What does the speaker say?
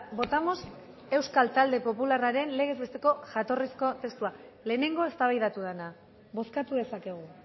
votamos euskal talde popularraren legez besteko jatorrizko testua lehenengo eztabaidatu dena bozkatu dezakegu